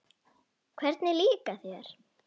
Hvernig líkar þér?